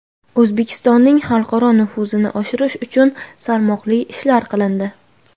O‘zbekistonning xalqaro nufuzini oshirish uchun salmoqli ishlar qilindi.